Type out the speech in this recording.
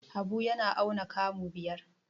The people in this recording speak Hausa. Habu yana auna kamu biyar.